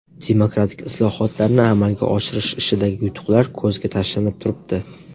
Demokratik islohotlarni amalga oshirish ishidagi yutuqlar ko‘zga tashlanib turibdi.